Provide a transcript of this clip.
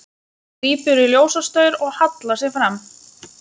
Grípur í ljósastaur og hallar sér fram.